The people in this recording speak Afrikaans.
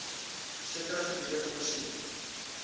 sekere gebiede voorsien